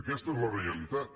aquesta és la realitat